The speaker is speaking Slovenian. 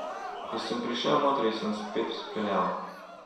Ko sem prišel notri, sem spet peljal.